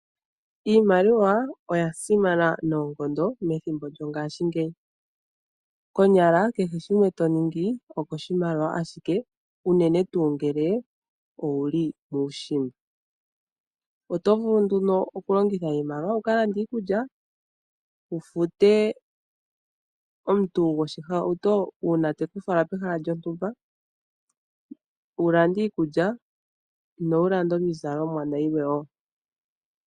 Iimaliwa oya simana noonkondo methimbo lyongashingeyi. Konyala kehe shimwe to ningi okoshimaliwa shike unene tuu ngele owu li muushimba. Oto vulu nduno okulongitha iimaliwa wu ka lande iikulya, wu fute omuntu goshihauto uuna te ku fala pehala lyontumba, wu lande iizalomwa nayilwe wo.